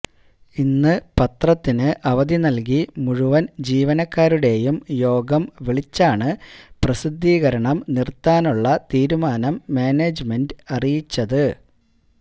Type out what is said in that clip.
ഇന്ന് പത്രത്തിന് അവധി നല്കി മുഴുവന് ജീവനക്കാരുടേയും യോഗം വിളിച്ചാണ് പ്രസിദ്ധീകരണം നിര്ത്താനുള്ള തീരുമാനം മാനേജ്മെന്റ് അറിയിച്ചത്